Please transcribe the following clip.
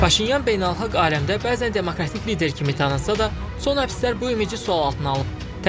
Paşinyan beynəlxalq aləmdə bəzən demokratik lider kimi tanınsa da, son həbslər bu ümidi sual altına alıb.